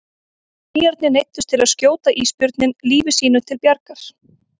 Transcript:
Svíarnir neyddust til að skjóta ísbjörninn lífi sínu til bjargar.